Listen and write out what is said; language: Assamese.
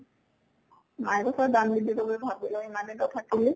মায়ে কৈছে দান দি দিব গৈ ঘৰত গৈ